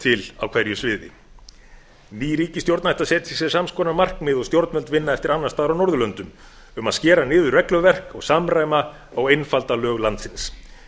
til á hverju sviði ný ríkisstjórn ætti að setja sér sams konar markmið og stjórnvöld vinna eftir annars staðar á norðurlöndum um að skera niður regluverk og samræma og einfalda lög landsins